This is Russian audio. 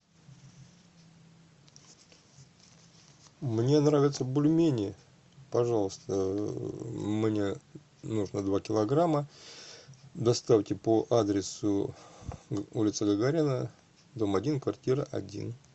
мне нравятся бульмени пожалуйста мне нужно два килограмма доставьте по адресу улица гагарина дом один квартира один